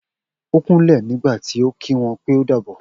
O kúnlè nígbàtí o ki wọn pè o dàbọ̀